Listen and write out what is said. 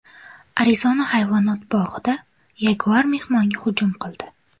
Arizona hayvonot bog‘ida yaguar mehmonga hujum qildi .